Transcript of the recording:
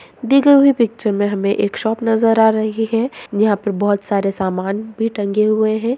दी गई हुई पिक्चर में हमे एक शॉप नजर आ रही है यहाँ पर बोहोत सारे समान भी टंगे हुए हैं।